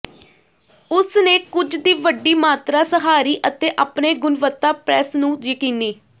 ਉਸ ਨੇ ਕੁਝ ਦੀ ਵੱਡੀ ਮਾਤਰਾ ਸਹਾਰੀ ਅਤੇ ਆਪਣੇ ਗੁਣਵੱਤਾ ਪ੍ਰੈੱਸ ਨੂੰ ਯਕੀਨੀ